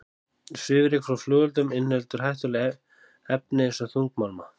Svifryk frá flugeldum inniheldur hættuleg efni eins og þungmálma.